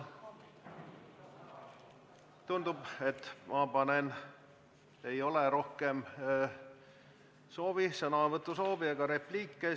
Tundub, et ei ole rohkem sõnavõtusoovi ega repliike.